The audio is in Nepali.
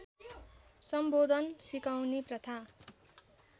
सम्बोधन सिकाउने प्रथा